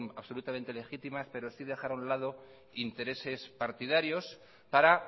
absolutamente legítimas pero sí dejar a un lado intereses partidarios para